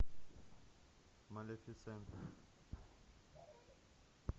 малефисента